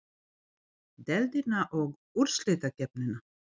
Deildina og úrslitakeppnina?